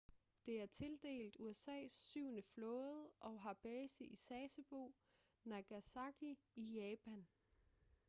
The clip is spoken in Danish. det er tildelt usas syvende flåde og har base i sasebo nagasaki i japan